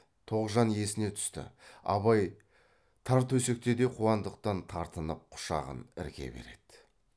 тоғжан есіне түсті абай тар төсекте де қуандықтан тартынып құшағын ірке береді